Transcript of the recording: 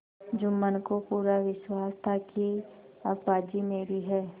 जुम्मन को पूरा विश्वास था कि अब बाजी मेरी है